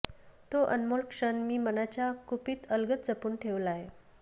तो अनमोल क्षण मी मनाच्या कुपीत अलगद जपून ठेवलाय